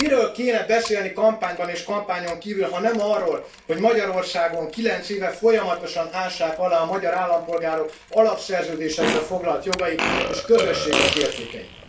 Miről kéne beszélni kampányban és kampányon kívül, ha nem arról, hogy Magyarországon kilenc éve folyamatosan ássák alá a magyar állampolgárok Alapszerződésekben foglalt jogait és Közösségünk értékeit.